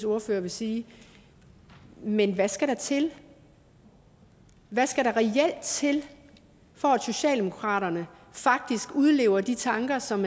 ordfører vil sige men hvad skal der til hvad skal der reelt til for at socialdemokraterne faktisk udlever de tanker som